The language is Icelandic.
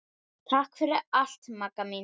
Takk fyrir allt Magga mín.